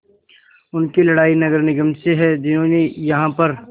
उनकी लड़ाई नगर निगम से है जिन्होंने यहाँ पर